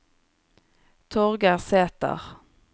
Torgeir Sæter